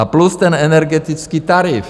A plus ten energetický tarif.